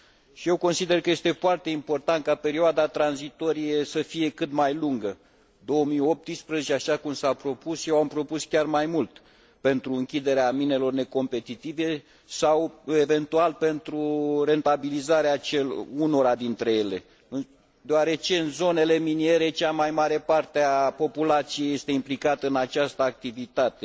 Și eu consider că este foarte important ca perioada tranzitorie să fie cât mai lungă 2018, așa cum s a propus, eu am propus chiar mai mult, pentru închiderea minelor necompetitive sau, eventual, pentru rentabilizarea unora dintre ele, deoarece în zonele miniere cea mai mare parte a populației este implicată în această activitate.